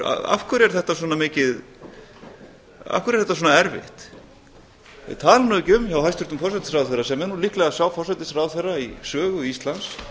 af hverju er þetta svona erfitt tala nú ekki um hjá hæstvirtum forsætisráðherra sem er nú líklega sá forsætisráðherra í sögu íslands